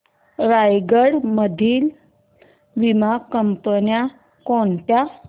रायगड मधील वीमा कंपन्या कोणत्या